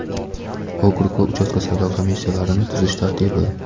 Okrug va uchastka saylov komissiyalarini tuzish tartibi.